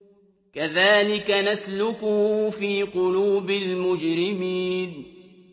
كَذَٰلِكَ نَسْلُكُهُ فِي قُلُوبِ الْمُجْرِمِينَ